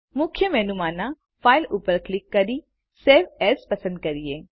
મુખ્ય મેનુ માંના ફાઇલ ઉપર ક્લિક કરી સવે એએસ પસંદ કરીએ